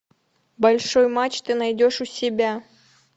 большой матч ты найдешь у себя